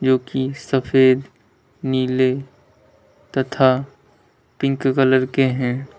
जो कि सफेद नीले तथा पिंक कलर के है।